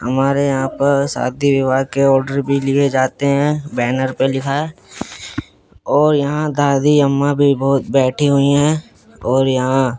हमारे यहां पर शादी विवाह के ऑर्डर भी लिए जाते हैं बैनर पे लिखा है और यहां दादी अम्मा भी बहुत बैठी हुई हैं और यहां--